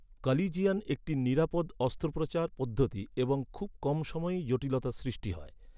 কালিজিয়ান একটি নিরাপদ অস্ত্রোপচার পদ্ধতি এবং খুব কম সময়ই জটিলতার সৃষ্টি হয়।